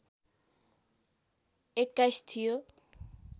२१ थियो